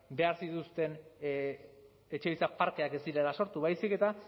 behar zituzten etxebizitza parkeak ez direla sortu baizik eta